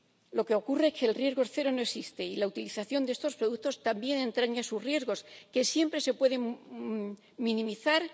Lo que ocurre es que el riesgo cero no existe, y la utilización de estos productos también entraña sus riesgos, que siempre se pueden minimizar